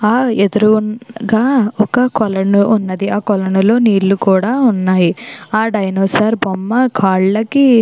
ఆ ఎదురుగా ఒక కొలను ఉన్నది ఆ కొలను లో నీళ్లు కూడా ఉన్నాయి డైనోసార్ బొమ్మ కల్లకికి--